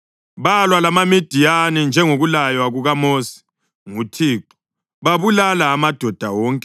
Balwa lamaMidiyani, njengokulaywa kukaMosi nguThixo, babulala amadoda wonke.